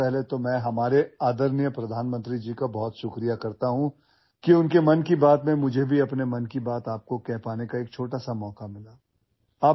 सर्वप्रथम मी आपले आदरणीय पंतप्रधानांचे आभार माणू इच्छितो की त्यांनी त्यांच्या मन की बात या कार्यक्रमात मला देखील माझ्या मनातील गोष्ट तुम्हाला सांगण्याची एक छोटीशी संधी मिळाली आहे